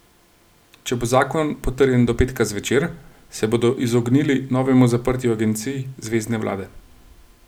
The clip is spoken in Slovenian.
Če bo zakon potrjen do petka zvečer, se bodo izognili novemu zaprtju agencij zvezne vlade.